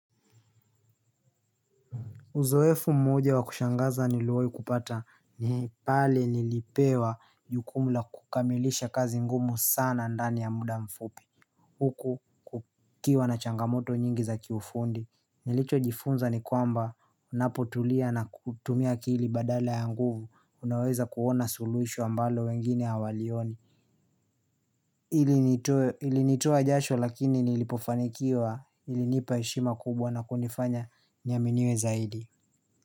Uzoefu mmoja wakushangaza niliwahi kupata ni pale nilipewa jukumu la kukamilisha kazi ngumu sana ndani ya muda mfupi Huku kukiwa na changamoto nyingi za kiufundi Nilichojifunza ni kwamba ninapotulia na kutumia akili badala ya nguvu Unaweza kuona suluhisho ambalo wengine hawalioni ilinitoa jasho lakini nilipofanikiwa ilinipa heshima kubwa na kunifanya niaminiwe zaidi.